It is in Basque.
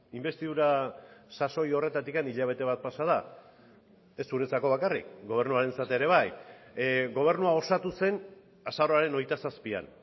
inbestidura sasoi horretatik hilabete bat pasa da ez zuretzako bakarrik gobernuarentzat ere bai gobernua osatu zen azaroaren hogeita zazpian